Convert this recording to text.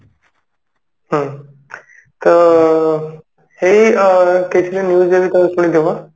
ହୁଁ ତ ସେଇ ଅ case ରେ news ଯଦି ଶୁଣି ଦବ